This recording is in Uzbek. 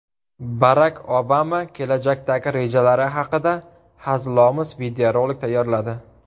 Barak Obama kelajakdagi rejalari haqida hazilomuz videorolik tayyorladi.